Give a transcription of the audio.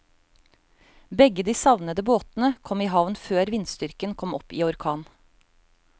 Begge de savnede båtene kom i havn før vindstyrken kom opp i orkan.